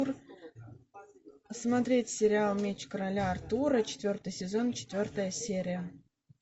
смотреть сериал меч короля артура четвертый сезон четвертая серия